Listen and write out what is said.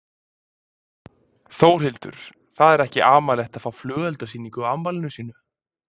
Þórhildur: Það er ekki amalegt að fá flugeldasýningu á afmæli sínu?